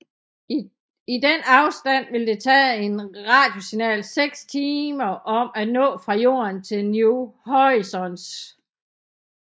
I denne afstand vil det tage et radiosignal 6 timer om at nå fra Jorden til New Horizons